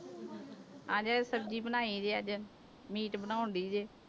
ਅੱਜ ਸਬਜ਼ੀ ਬਣਾਈ ਜੇ ਅੱਜ ਮੀਟ ਬਣਾਉਂਦੀ ਜੇ।